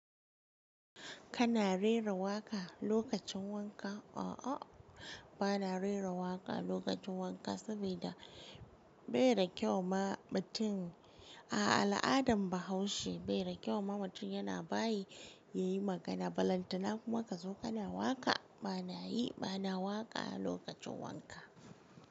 Kana rera waƙa lokacin wanka? A'a, ba na rera waƙa lokacin wanka saboda bai da kyau ma mutum. A al'adan Bahaushe bai da kyau ma mutum yana bayin yayi magana, balantana kuma ka zo kana waƙa. Ba na yi, ba na waƙa lokacin wanka.